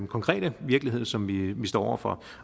konkrete virkelighed som vi står over for